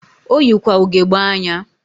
Oyikwa ugegbe anya.